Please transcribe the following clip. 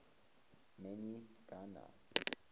man y gana